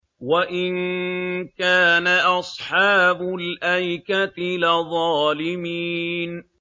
وَإِن كَانَ أَصْحَابُ الْأَيْكَةِ لَظَالِمِينَ